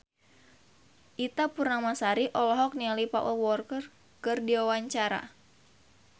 Ita Purnamasari olohok ningali Paul Walker keur diwawancara